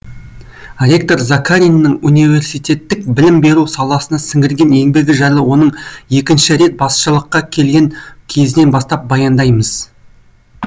ректор закариннің университеттік білім беру саласына сіңірген еңбегі жайлы оның екінші рет басшылыққа келген кезінен бастап баяндаймыз